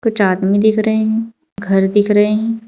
कुछ आदमी दिख रहे है घर दिख रहे--